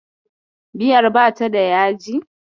Miyar ba ta da yaji.